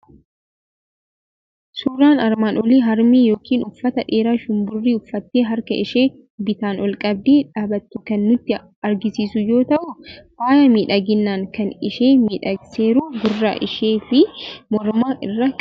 Suuraan armaan olii harmee yookiin uffata dheeraa shumburii uffattee, harka ishee bitaan ol qabdee dhaabattu kan nutti argisiisu yoo ta'u, faaya miidhaginaa kan ishee miidhagseeru gurra ishii fi morma irraa qabdi.